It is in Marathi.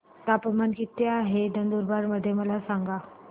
तापमान किता आहे नंदुरबार मध्ये मला सांगा